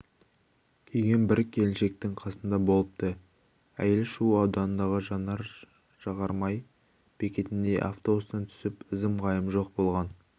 киген бір келіншектің қасында болыпты әйел шу ауданындағы жанар-жағармай бекетінде автобустан түсіп ізім-ғайым жоқ болған